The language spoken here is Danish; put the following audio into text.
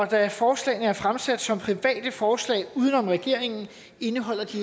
da forslagene er fremsat som private forslag uden om regeringen indeholder de